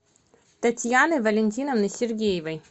татьяны валентиновны сергеевой